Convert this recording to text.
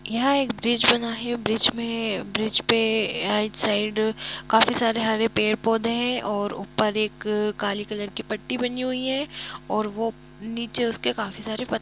यह एक ब्रिज बना है ब्रिज में ब्रिज पर राइट साइड काफी सारे हरे पेड़ पौधे हैं और ऊपर एक काली कलर की पट्टी बनी हुई है और वह नीचे उसके काफी सारे पत्थर है।